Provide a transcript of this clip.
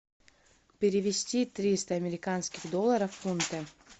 перевести триста американских долларов в фунты